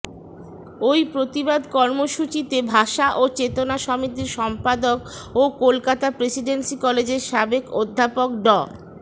ওই প্রতিবাদ কর্মসূচিতে ভাষা ও চেতনা সমিতির সম্পাদক ও কোলকাতার প্রেসিডেন্সি কলেজের সাবেক অধ্যাপক ড